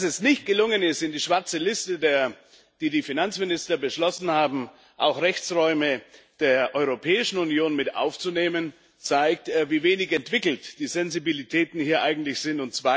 Dass es nicht gelungen ist, in die schwarze Liste, die die Finanzminister beschlossen haben, auch Rechtsräume der Europäischen Union mit aufzunehmen, zeigt, wie wenig entwickelt die Sensibilitäten hier sind.